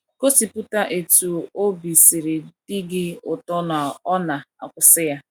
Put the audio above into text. Gosiputa etú obi siri di gị ụtọ na ọ na - akwụsị ya.